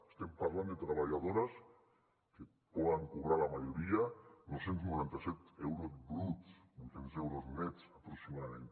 estem parlant de treballadores que poden cobrar la majoria nou cents i noranta set euros bruts vuit cents euros nets aproximadament